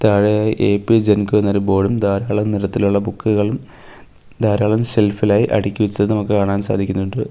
താഴെയായി എ_പി ജൻകോ എന്ന ഒരു ബോർഡും ധാരാളം നിറത്തിലുള്ള ബുക്കുകളും ധാരാളം സെൽഫ് ഇൽ ആയി അടിച്ചതും കാണാൻ സാധിക്കുന്നുണ്ട്.